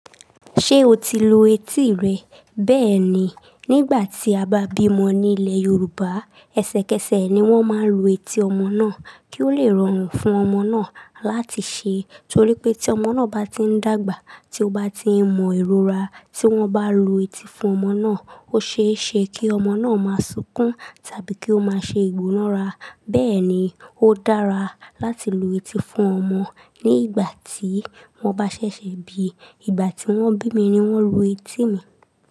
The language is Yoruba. Ṣé o ti lu etí rẹ? Bẹ́ẹ̀ni, nígbà tí a bá bímọ ní ilẹ̀ Yorùbá, ẹsẹ̀kẹsẹ̀ ni wọ́n máa ń lu etí ọmọ náà kí ó le rọrùn fún ọmọ náà láti ṣe. I, torí pé tí ọmọ náà bá ti ń dàgbà, tí ó bá ti mọ ìrora tí wọ́n bá lu etí fún ọmọ náà, ó ṣe é ṣe kí ọmọ náà máa sunkún tàbí kí ó máa ṣe ìgbórora. Bẹ́ẹ̀ ni, ó dára láti lu etí fún ọmọ nígbà tí wọ́n bá ṣẹ̀ṣẹ̀ bíi. Ìgbà tí wọ́n bí mi ni wọ́n lu etí mi.